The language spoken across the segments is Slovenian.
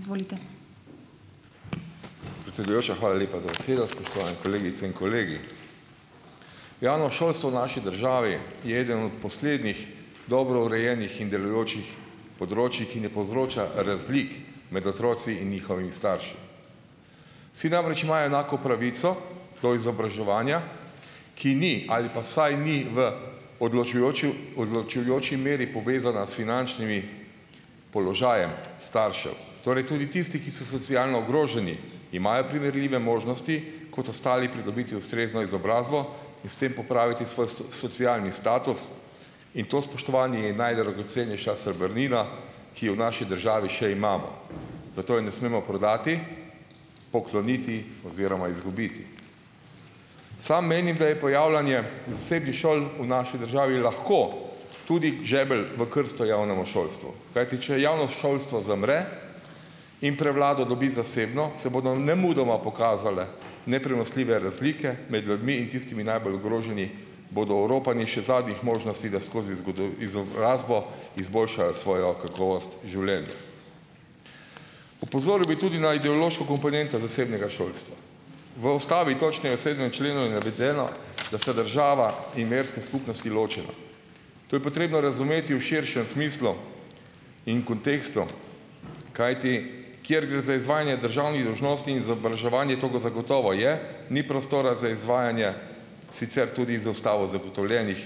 Izvolite. Predsedujoča, hvala lepa za besedo. Spoštovane kolegice in kolegi. Javno šolstvo v naši državi je eden od poslednjih dobro urejenih in delujočih področij, ki ne povzroča razlik med otroci in njihovimi starši. Vsi namreč imajo enako pravico do izobraževanja, ki ni ali pa vsaj ni v odločujoči meri povezana s finančnim položajem staršev. Torej tudi tisti, ki so socialno ogroženi, imajo primerljive možnosti kot ostali pridobiti ustrezno izobrazbo in s tem popraviti svoj socialni status in to, spoštovani, je najdragocenejša srebrnina, ki jo v naši državi še imamo. Zato je ne smemo prodati, pokloniti oziroma izgubiti. Sam menim, da je pojavljanje zasebnih šol v naši državi lahko tudi žebelj v krsto javnemu šolstvu. Kajti če javno šolstvo zamre in prevlado dobi zasebno, se bodo nemudoma pokazale neprenosljive razlike med ljudmi in tisti najbolj ogroženi bodo oropani še zadnjih možnosti, da skozi izobrazbo izboljšajo svojo kakovost življenju. Opozoril bi tudi na ideološko komponento zasebnega šolstva. V Ustavi, točneje v sedmem členu je navedeno , da so država in verske skupnosti ločena. To je potrebno razumeti v širšem smislu in kontekstu, kajti kjer gre za izvajanje državnih dolžnosti in izobraževanje, togo zagotovo je, ni prostora za izvajanje, sicer tudi z Ustavo zagotovljenih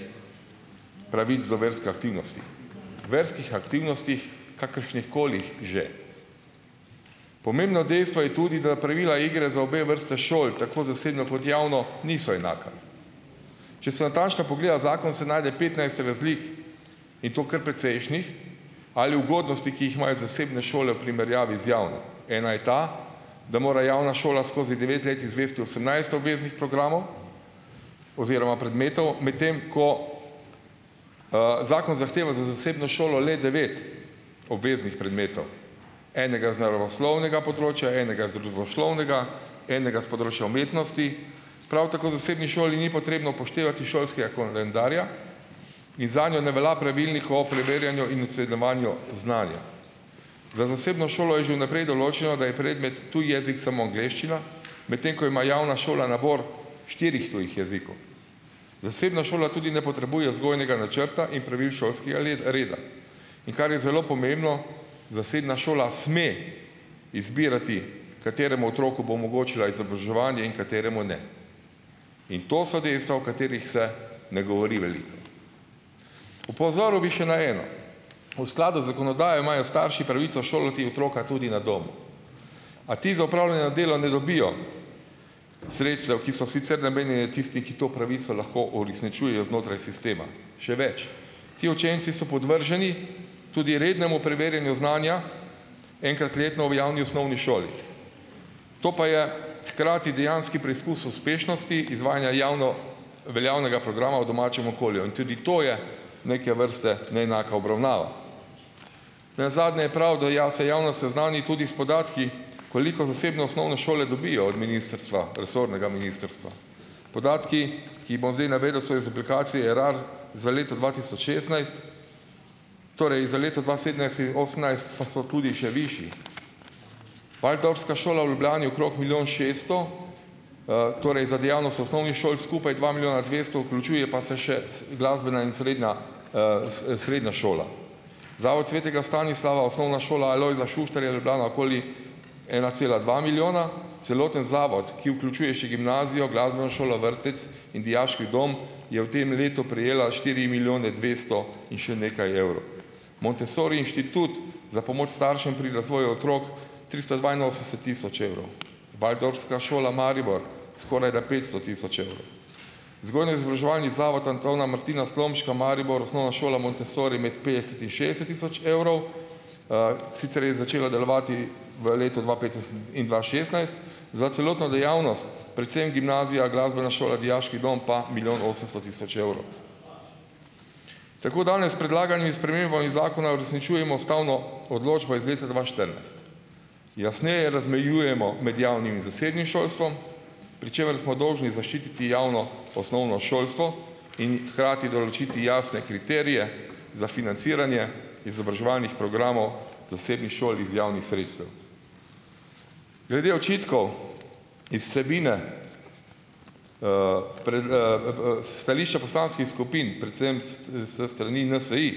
pravic do verske aktivnosti. Verskih aktivnostih, kakršnih kolih že. Pomembno dejstvo je tudi, da pravila igre za obe vrsti šol, tako zasebno kot javno, niso enaka. Če se natančno pogleda zakon, se najde petnajst razlik, in to kar precejšnjih, ali ugodnosti, ki jih imajo zasebne šole v primerjavi z javno. Ena je ta, da mora javna šola skozi devet let izvesti osemnajst obveznih programov oziroma predmetov, medtem ko zakon zahteva za zasebno šolo le devet obveznih predmetov. Enega z naravoslovnega področja, enega z družboslovnega, enega s področja umetnosti. Prav tako zasebni šoli ni potrebno upoštevati šolskega koledarja in zanjo ne velja pravilnik o preverjanju in ocenjevanju znanja. Za zasebno šolo je že v naprej določeno, da je predmet tuji jezik samo angleščina, medtem ko ima javna šola nabor štirih tujih jezikov. Zasebna šola tudi ne potrebuje vzgojnega načrta in pravil šolskega reda. In kar je zelo pomembno, zasebna šola sme izbirati, kateremu otroku bo omogočila izobraževanje in kateremu ne. In to so dejstva, o katerih se ne govori veliko. Opozoril bi še na eno. V skladu z zakonodajo imajo starši pravico šolati otroka tudi na domu. A ti za opravljeno delo ne dobijo sredstev, ki so sicer namenjeni, tisti, ki to pravico lahko uresničujejo znotraj sistema. Še več. Te učenci so podvrženi tudi rednemu preverjanju znanja, enkrat letno v javni osnovni šoli. To pa je hkrati dejanski preizkus uspešnosti izvajanja javno veljavnega programa v domačem okolju. Tudi to je neke vrste neenaka obravnava. Nenazadnje je prav, da se javno seznani tudi s podatki, koliko zasebne osnovne šole dobijo od ministrstva, resornega ministrstva. Podatki, ki jih bom zdaj navedel, so iz aplikacije RAR, za leto dva tisoč šestnajst. Torej, za leto dva sedemnajst in osemnajst pa so tudi še višji. Waldorfska šola v Ljubljani okrog milijon šeststo, torej za dejavnost v osnovni šoli skupaj dva milijona dvesto, vključuje pa se še glasbena in srednja srednja šola. Zavod Svetega Stanislava, Osnovna šola Alojzija Šuštarja, Ljubljana okoli ena cela dva milijona, celoten zavod, ki vključuje še gimnazijo, glasbeno šolo, vrtec in dijaški dom, je v tem letu prejela štiri milijone dvesto in še nekaj evrov. Montessori inštitut za pomoč staršem pri razvoju otrok tristo dvainosemdeset tisoč evrov. Waldorfska šola Maribor skorajda petsto tisoč evrov. Vzgojno-izobraževalni zavod Antona Martina Slomška Maribor, Osnovna šola Montessori med petdeset in šestdeset tisoč evrov. sicer je začela delovati v letu dva petnajst in dva šestnajst, za celotno dejavnost, predvsem gimnazija, glasbena šola, dijaški dom pa milijon osemsto tisoč evrov. Tako danes s predlaganimi spremembami zakona uresničujemo ustavno odločbo iz leta dva štirinajst. Jasneje razmejujemo med javnim in zasebnim šolstvom, pri čemer smo dolžni zaščititi javno osnovno šolstvo in hkrati določiti jasne kriterije za financiranje izobraževalnih programov zasebnih šol iz javnih sredstev. Glede očitkov iz vsebine stališča poslanskih skupin, predvsem s strani NSi,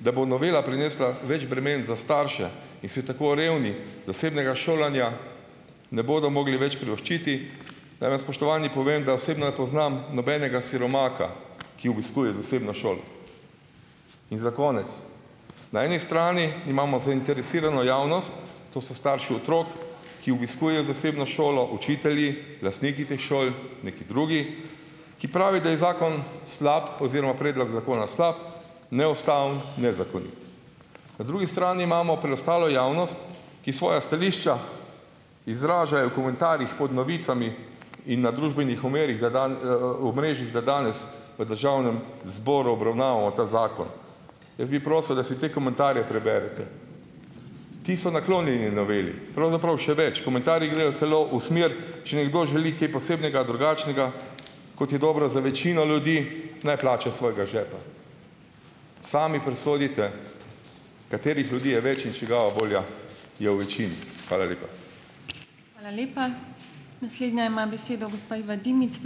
da bo novela prinesla več bremen za starše, in si tako revni zasebnega šolanja ne bodo mogli več privoščiti, naj vam, spoštovani, povem, da osebno ne poznam nobenega siromaka, ki obiskuje zasebno šolo. In za konec. Na eni strani imamo zainteresirano javnost, to so starši otrok, ki obiskujejo zasebno šolo, učitelji, lastniki teh šol, neki drugi, ki pravi, da je zakon slab oziroma predlog zakona slab, neustaven, nezakonit. Na drugi strani imamo preostalo javnost, ki svoja stališča izražajo v komentarjih pod novicami in na družbenih da omrežjih, da danes v Državnem zboru obravnavamo ta zakon. Jaz bi prosil, da si te komentarje preberete. Ti so naklonjeni noveli. Pravzaprav še več, komentarji grejo celo v smer, če nekdo želi kaj posebnega, drugačnega, kot je dobro za večino ljudi, ne plača iz svojega žepa. Sami presodite, katerih ljudi je več in čigava volja je v večini. Hvala lepa.